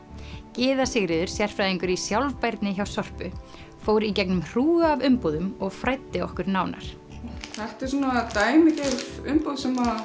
Gyða Sigríður sérfræðingur í sjálfbærni hjá Sorpu fór í gegnum hrúgu af umbúðum og fræddi okkur nánar þetta eru dæmigerðar umbúðir sem